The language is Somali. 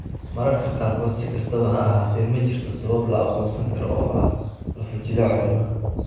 Mararka qaarkood, si kastaba ha ahaatee, ma jirto sabab la aqoonsan karo oo ah lafo-jileecu ee ilmaha.